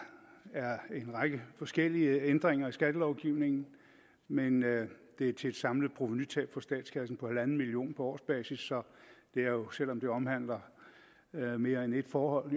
er en række forskellige ændringer i skattelovgivningen men det er til et samlet provenutab for statskassen på en million kroner på årsbasis så det er jo selv om det omhandler mere mere end ét forhold